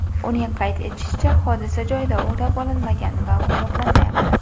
Uning qayd etishicha, hodisa joyida o‘rab olinmagan va qo‘riqlanmayapti.